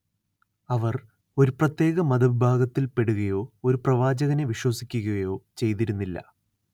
അവർ ഒരു പ്രത്യേക മതവിഭാഗത്തിൽപ്പെടുകയോ ഒരു പ്രവാചകനെ വിശ്വസിക്കുകയോ ചെയ്തിരുന്നില്ല